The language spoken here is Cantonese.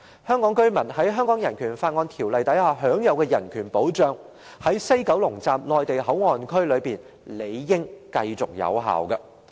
香港居民在《香港人權法案條例》下享有的人權保障，在西九龍站內地口岸區理應繼續有效。